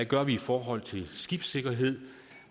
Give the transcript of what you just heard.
gør i forhold til skibssikkerhed